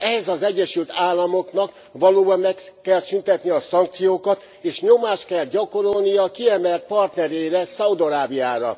Ehhez az Egyesült Államoknak valóban meg kell szüntetnie a szankciókat, és nyomást kell gyakorolnia kiemelt partnerére, Szaúd Arábiára.